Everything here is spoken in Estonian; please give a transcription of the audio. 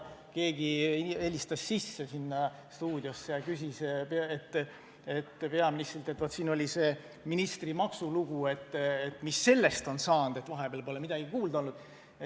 Keegi helistas sinna stuudiosse ja küsis peaministrilt, et meil oli see ministri maksulugu, mis sellest on saanud – vahepeal pole midagi kuulda olnud.